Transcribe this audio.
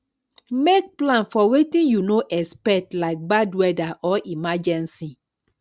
make plan for wetin you no expect like bad weather or emergency